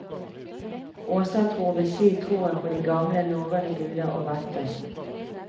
Åsatro vil si troen på de gamle norrøne guder og vætter.